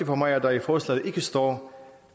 for mig at der i forslaget ikke står